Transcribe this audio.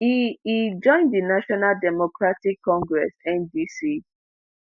e e join di national democratic congress ndc